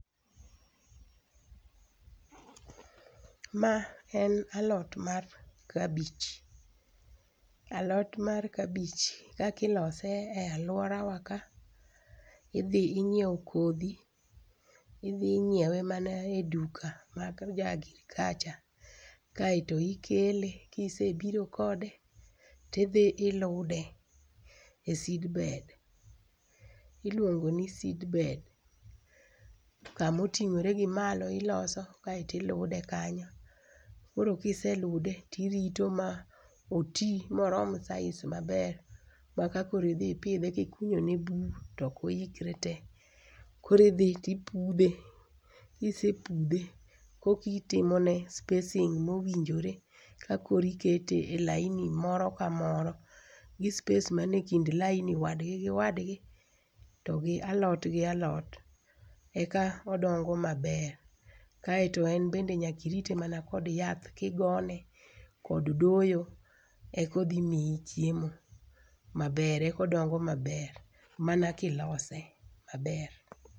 Ma en alot mar kabich. Alot mar kabich kaka ilose e aluorawa ka, idhi ing'iewo kodhi, idhi ing'iewe mana eduka mar jo agirikacha. Kaeto ikele, ka ise biro kode, to idhi ilude e seedbed, iluongo ni seedbed. Kama oting'ore gi malo ilose kaeto ilude kanyo. Koro ka iselude tirito moti moromo size maber tmaka koro idhi pidhe ka ikunyo ne bur, to ok oikre te. Koro idhi to ipudhe, ka isepudhe koka itimone spacing mowinjore eka´ikete e laini moro ka moro gi spacing man ekind laini wadgi gi wadgi to gi alot gi alot eka odongo maber kaeto en bende nyaka irite mana kod yath kigone kod doyo eka odhi miyi chiemo maber, eka odongo maber mana ka ilose maber.